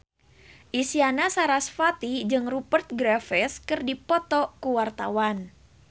Isyana Sarasvati jeung Rupert Graves keur dipoto ku wartawan